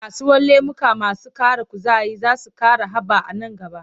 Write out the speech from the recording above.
Kasuwar lemuka masu ƙara kuzari za ta ƙara haɓa a nan gaba.